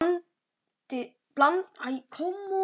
Hún skoraði fimm mörk.